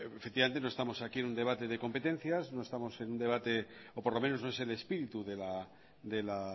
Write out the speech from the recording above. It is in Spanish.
efectivamente no estamos aquí en un debate de competencias no estamos en un debate o por lo menos no es el espíritu de la